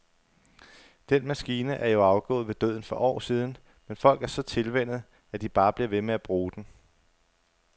Den maskine er jo afgået ved døden for år siden, men folk er så tilvænnet, at de bare bliver ved med at bruge den.